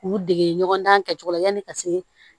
K'u dege ɲɔgɔn na kɛcogo la yanni ka se